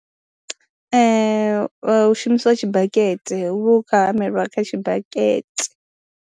Hu shumisiwa tshibakete, hu vha hu khou hamela kha tshibakete.